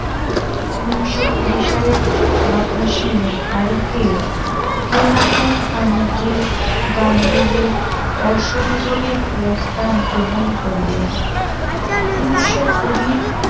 উন্নিশ কুড়ি সালের আঠাশ শে মে তারিখে খিলাফত কমিটি গান্ধীজীর অসহযোগের প্রস্তাব গ্রহণ করিলেন উন্নিশ কুড়ি